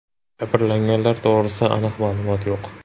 Jabrlanganlar to‘g‘risida aniq ma’lumotlar yo‘q.